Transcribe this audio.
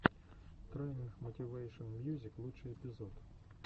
трайнинг мотивэйшен мьюзик лучший эпизод